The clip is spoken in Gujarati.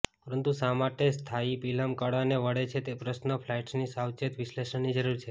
પરંતુ શા માટે સ્પાથીપિહલમ કાળાને વળે છે તે પ્રશ્નને ફ્લાઇટ્સની સાવચેત વિશ્લેષણની જરૂર છે